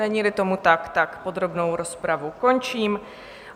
Není-li tomu tak, podrobnou rozpravu končím.